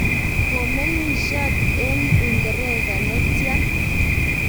komeng'isot eng' uingeresa ne tya?